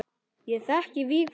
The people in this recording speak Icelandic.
Ég þekki Vigfús.